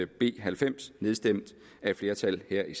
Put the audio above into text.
b halvfems nedstemt af et flertal her i